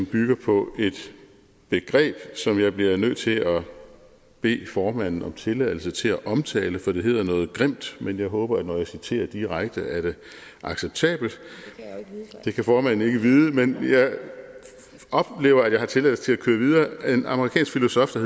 bygger på et begreb som jeg bliver nødt til at bede formanden om tilladelse til at omtale for det hedder noget grimt men jeg håber at når jeg citerer direkte er det acceptabelt det kan formanden ikke vide men jeg oplever at jeg har tilladelse til at køre videre af en amerikansk filosof der